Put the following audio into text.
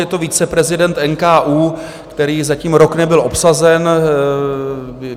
Je to viceprezident NKÚ, který zatím rok nebyl obsazen.